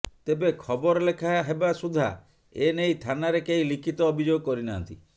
ତେବେ ଖବର ଲେଖା ହେବା ସୁଦ୍ଧା ଏନେଇ ଥାନାରେ କେହି ଲିଖିତ ଅଭିଯୋଗ କରିନାହାନ୍ତି